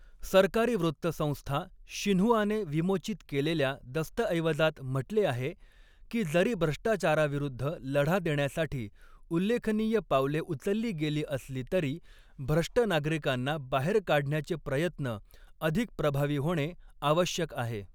सरकारी वृत्तसंस्था शिन्हुआने विमोचित केलेल्या दस्तऐवजात म्हटले आहे, की जरी भ्रष्टाचाराविरुद्ध लढा देण्यासाठी उल्लेखनीय पावले उचलली गेली असली तरी, भ्रष्ट नागरिकांना बाहेर काढण्याचे प्रयत्न अधिक प्रभावी होणे आवश्यक आहे.